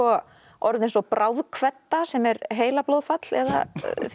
orð eins og sem er heilablóðfall eða